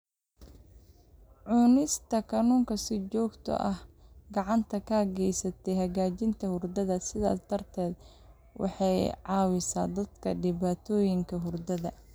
Cunista kalluunka si joogto ah waxay gacan ka geysataa hagaajinta hurdada, sidaas darteed waxay caawisaa dadka dhibaatooyinka hurdada.